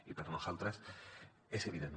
i per nosaltres és evident